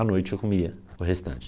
A noite eu comia o restante.